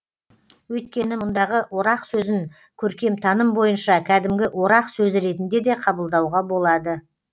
өйткені мұндағы орақ сөзін көркемтаным бойынша кәдімгі орақ сөзі ретінде де қабылдауға болады